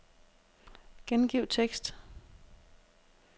Gengiv tekst.